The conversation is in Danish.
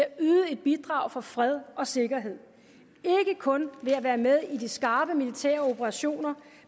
at yde et bidrag for fred og sikkerhed ikke kun ved at være med i de skarpe militæroperationer